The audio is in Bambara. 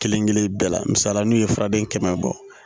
Kelen kelen bɛɛ la misali la n'u ye furaden kɛmɛ bɔ